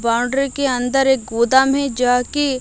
boundary के अंदर एक गोदाम है जहां की--